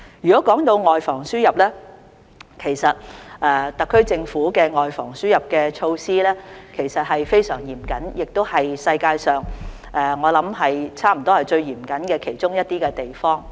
談到外防輸入，其實特區政府的外防輸入措施非常嚴謹，我相信香港亦是世界上最嚴謹的其中一個地方。